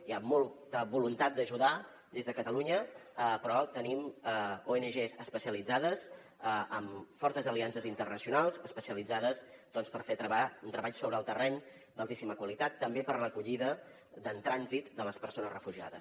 hi ha molta voluntat d’ajudar des de catalunya però tenim ongs especialitzades amb fortes aliances internacionals especialitzades per fer un treball sobre el terreny d’altíssima qualitat també per a l’acollida en trànsit de les persones refugiades